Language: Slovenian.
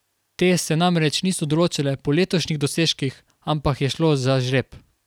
Te se namreč niso določale po letošnjih dosežkih, ampak je šlo za žreb.